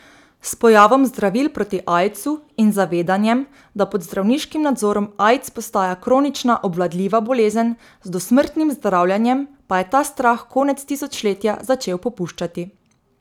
S pojavom zdravil proti aidsu in zavedanjem, da pod zdravniškim nadzorom aids postaja kronična obvladljiva bolezen z dosmrtnim zdravljenjem, pa je ta strah konec tisočletja začel popuščati.